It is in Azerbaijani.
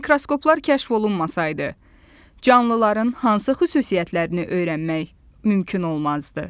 Mikroskoplar kəşf olunmasaydı, canlıların hansı xüsusiyyətlərini öyrənmək mümkün olmazdı?